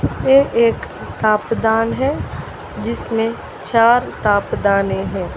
ये एक किताब दान है जिसमें चार किताब दाने है।